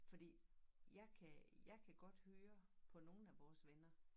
Fordi jeg kan jeg kan godt høre på nogen af vores venner